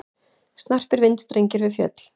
Snarpir vindstrengir við fjöll